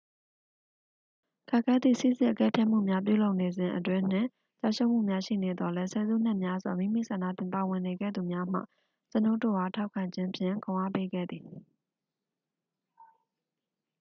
ခက်ခဲသည့် စိစစ်အကဲဖြတ်မှုများပြုလုပ်နေစဉ်အတွင်း နှင့်ကျရှုံးမှုများရှိနေသော်လည်း ဆယ်စုနှစ်များစွာ မိမိဆန္ဒဖြင့်ပါဝင်နေခဲ့သူများမှ ကျွန်ုပ်တို့အား ထောက်ခံခြင်းဖြင့် ခွန်အားပေးခဲ့သည်